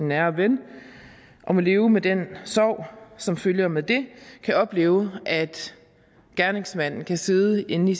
nære ven og må leve med den sorg som følger med det kan opleve at gerningsmændene kan sidde inde i